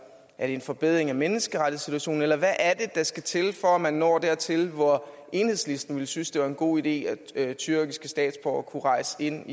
er det en forbedring af menneskerettighedssituationen eller hvad er det der skal til for at man når dertil hvor enhedslisten ville synes det var en god idé at tyrkiske statsborgere kunne rejse ind